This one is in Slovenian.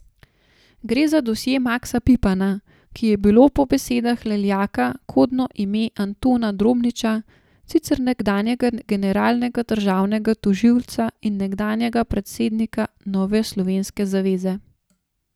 Gre za dosje Maksa Pipana, ki je bilo po besedah Leljaka kodno ime Antona Drobniča, sicer nekdanjega generalnega državnega tožilca in nekdanjega predsednika Nove slovenske zaveze.